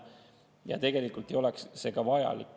Ja tegelikult ei oleks see ka vajalik.